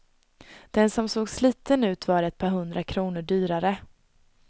Den som såg sliten ut var ett par hundra kronor dyrare.